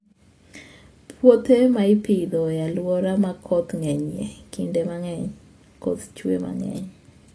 Puothe ma ipidho e alwora ma koth ng'enyie, kinde mang'eny koth chue mang'eny.